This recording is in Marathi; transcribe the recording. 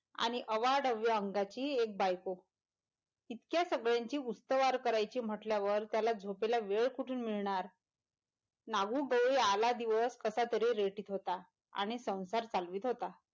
आणि अवाढव्य अंगाची एक बायको इतक्या सगळ्यांची उस्तवार करायचं म्हटल्यावर त्याला झोपेला वेळ कुठून मिळणार नागुडोली आला दिवस कसातरी रेटीत होता आणि संसार चालवीत होता.